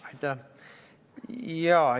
Aitäh!